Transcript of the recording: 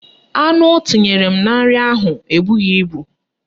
Anu o tinyere m na nri ahụ ebughi ibu